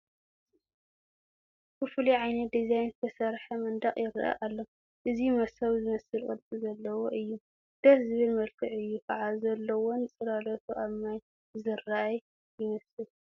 ብፍሉይ ዓይነት ዲዛይን ዝተሰርሐ መንደቕ ይርአ ኣሎ፡፡ እዚ መሶብ ዝመስል ቅርፂ ዘለዎ እዩ፡፡ ደስ ዝብል መልክዕ እዩ ከዓ ዘለዎን ፅላሎቱ ኣብ ማይ ዝራኣይ ይመስል፡፡